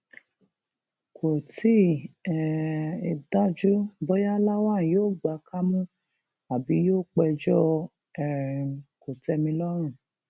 kò tí um ì dájú bóyá lawan yóò gba kámú àbí yóò péjọ um kòtẹmilọrùn